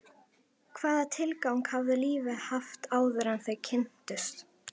Hvaða tilgang hafði lífið haft áður en þau kynntust?